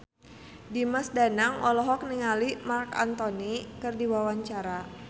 Dimas Danang olohok ningali Marc Anthony keur diwawancara